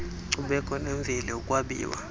nkcubeko nemveli ukwabiwa